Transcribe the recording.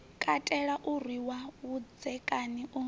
katela u rwiwa vhudzekani u